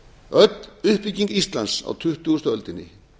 öll uppbygging íslands á tuttugustu öldinni